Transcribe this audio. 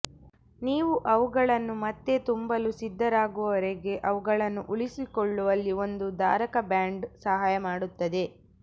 ನೀವು ಅವುಗಳನ್ನು ಮತ್ತೆ ತುಂಬಲು ಸಿದ್ಧರಾಗುವವರೆಗೆ ಅವುಗಳನ್ನು ಉಳಿಸಿಕೊಳ್ಳುವಲ್ಲಿ ಒಂದು ಧಾರಕ ಬ್ಯಾಂಡ್ ಸಹಾಯ ಮಾಡುತ್ತದೆ